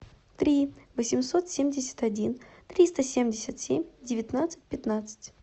три восемьсот семьдесят один триста семьдесят семь девятнадцать пятнадцать